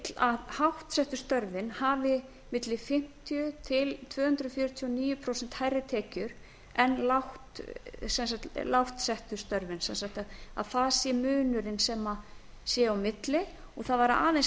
vill að háttsettu störfin hafi milli fimmtíu til tvö hundruð fjörutíu og níu prósent hærri tekjur en lágt settu störfin sem sagt að það sé munruinn sem sé á milli og það var aðeins